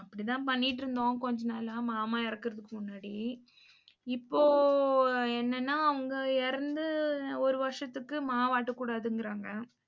அப்படி தான் பண்ணிட்டு இருந்தோம் கொஞ்ச நாளா மாமா இறக்குறதுக்கு முன்னாடி இப்ப என்ன னா அவங்க இறந்து ஒரு வருஷத்துக்கு மாவு ஆட்ட கூடாதுங்குறாங்க.